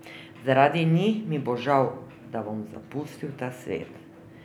Zaradi njih mi bo žal, da bom zapustil ta svet.